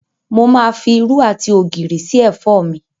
Mo máa fi irú àti ògìrì sí ẹ̀fọ́ mi.